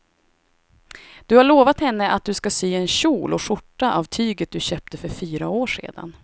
Du har lovat henne att du ska sy en kjol och skjorta av tyget du köpte för fyra år sedan.